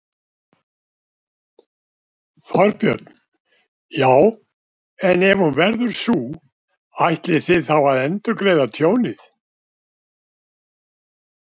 Þorbjörn: Já, en ef hún verður sú, ætlið þið þá að endurgreiða tjónið?